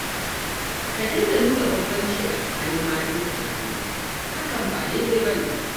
Ka daina nuna banbanci a tsakanin matanka na aure, hakan ba dai-dai ba ne